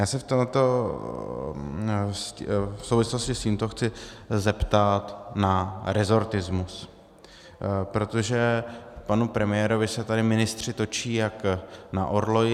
Já se v souvislosti s tímto chci zeptat na rezortismus, protože panu premiérovi se tady ministři točí jak na orloji.